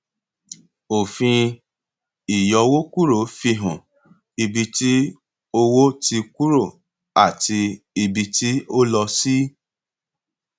òfin ìyọwókúrò fi hàn ibi tí owó ti kúrò àti ibi tí ó lọ sí